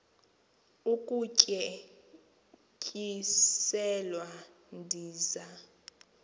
ukutye tyiselwa ndiza